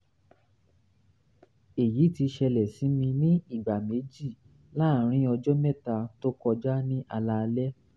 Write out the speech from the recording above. èyí ti ṣẹlẹ̀ sí mi ní ìgbà méjì láàárín ọjọ́ mẹ́ta tó kọjá ní alaalẹ́